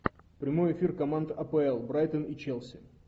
прямой эфир команд апл брайтон и челси